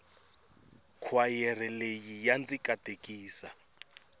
khwayere leyi ya ndzi katekisa